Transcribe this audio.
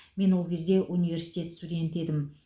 мен ол кезде университет студенті едім